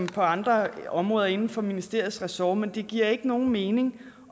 på andre områder inden for ministeriets ressort men det giver ikke nogen mening